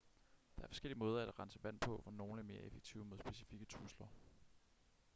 der er forskellige måder at rense vand på hvor nogle er mere effektive mod specifikke trusler